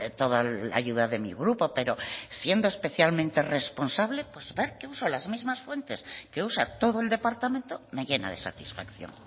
toda la ayuda de mi grupo pero siendo especialmente responsable pues ver que uso las mismas fuentes que usa todo el departamento me llena de satisfacción